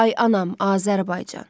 Ay anam, Azərbaycan.